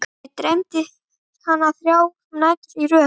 Mig dreymir hana þrjár nætur í röð.